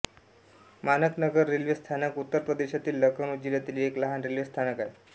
माणक नगर रेल्वे स्थानक उत्तर प्रदेशातील लखनऊ जिल्ह्यातील एक लहान रेल्वे स्थानक आहे